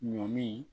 Ɲɔ min